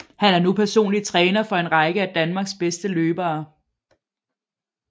Han er nu personlig træner for en række af Danmarks bedste løbere